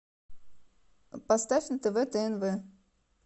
поставь на тв тнв